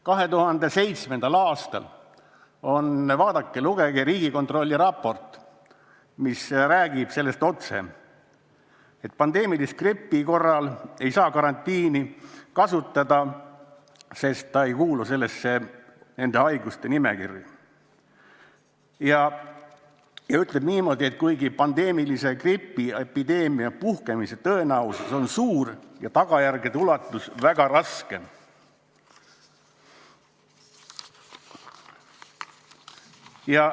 2007. aasta Riigikontrolli raportis – vaadake ja lugege – on otse öeldud, et pandeemilise gripi korral ei saa karantiini kehtestada, sest see ei kuulu nende haiguste nimekirja, kuigi pandeemilise gripi epideemia puhkemise tõenäosus on suur ja tagajärjed väga rasked.